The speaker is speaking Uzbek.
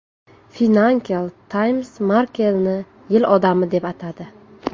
Financial Times Merkelni yil odami deb atadi .